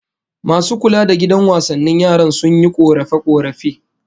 Masu kula da gidan wasannin yaran, sun yi korafe-korafe